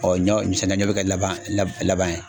ɲɔ sɛnɛkɛ ɲɔ be kɛ laban laban ye.